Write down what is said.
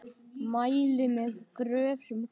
Mæli með Gröf sem gleður.